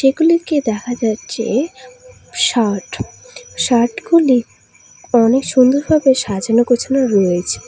গুলিকে দেখা যাচ্ছে শার্ট শার্টগুলি অনেক সুন্দর ভাবে সাজানো গোছানো রয়েছে।